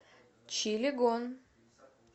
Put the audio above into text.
чилегон